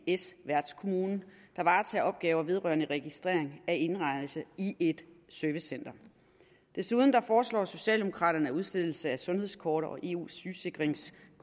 ics værtskommune der varetager opgaver vedrørende registrering af indrejse i et servicecenter desuden foreslår socialdemokraterne at udstedelse af sundhedskort og eu sygesikringskort